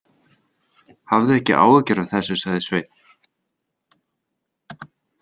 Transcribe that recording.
Hafðu ekki áhyggjur af þessu, sagði Sveinn.